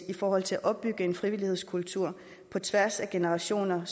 i forhold til at opbygge en frivillighedskultur på tværs af generationer